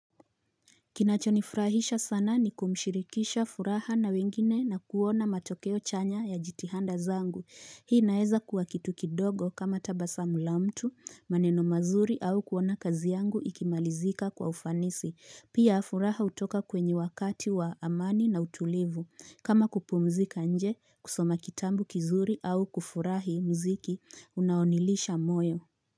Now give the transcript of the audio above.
Kinachonifurahisha sana ni kumshirikisha furaha na wengine na kuona matokeo chanya ya jitihanda zangu. Hii naeza kuwa kitukidogo kama tabasamu la mtu, maneno mazuri au kuona kazi yangu ikimalizika kwa ufanisi. Pia furaha utoka kwenye wakati wa amani na utulivu. Kama kupumzika nje, kusoma kitabu kizuri au kufurahi mziki, unaoniridhisha moyo.